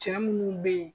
Cɛ munnu be yen